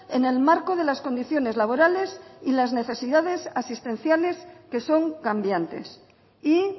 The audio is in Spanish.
en el marco de las condiciones laborales y las necesidades asistenciales que son cambiantes y